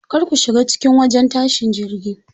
Kar ku shiga cikin wajen tashin jirgi.